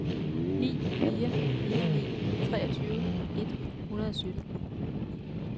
ni fire fire ni treogtyve et hundrede og sytten